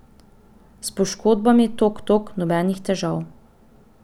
S poškodbami, tok tok, nobenih težav.